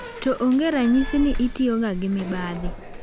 To onge ranyisi ni itiyoga gi mibadhi.